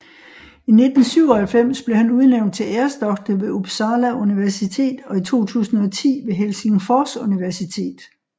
I 1997 blev han udnævnt til æresdoktor ved Uppsala Universitet og i 2010 ved Helsingfors Universitet